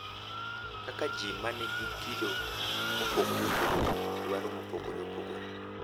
Kaka ji ma nigi kido mopogore opogore, dwaro mopogore opogore,